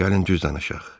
Gəlin düz danışaq.